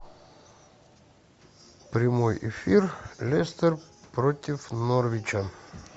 прямой эфир лестер против норвича